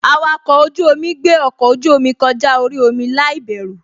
Awakọ̀ ojú-omi gbé ọkọ ojú-omi kọjá orí omi láìbẹ̀rù